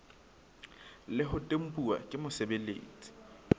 le ho tempuwa ke mosebeletsi